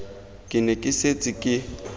ke ne ke setse ke